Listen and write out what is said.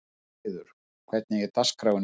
Jónheiður, hvernig er dagskráin í dag?